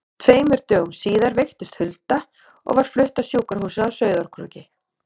Tveimur dögum síðar veiktist Hulda og var flutt á sjúkrahúsið á Sauðárkróki.